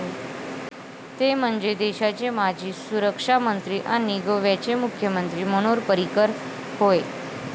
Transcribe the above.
ते म्हणजे, देशाचे माजी सुरक्षामंत्री आणि गोव्याचे मुख्यमंत्री मनोहर पर्रीकर होय.